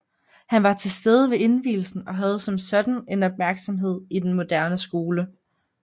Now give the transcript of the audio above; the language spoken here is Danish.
Han var til stede ved indvielsen og havde som sådan en opmærksomhed i den moderne skole